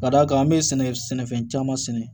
Ka d'a kan an bɛ sɛnɛ sɛnɛfɛn caman sɛnɛ